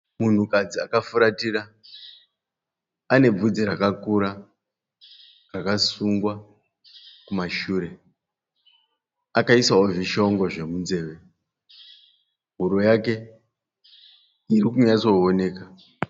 Munhukadzi akafuratira ane bvudzi rakakura rwakasungwa kumashure. Akaisawo zvishongo zvemunzeve. Huro yake iri kunyatsooneka.